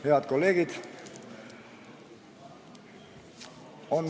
Head kolleegid!